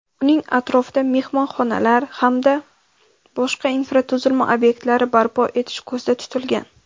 uning atrofida mehmonxonalar hamda boshqa infratuzilma ob’ektlari barpo etish ko‘zda tutilgan.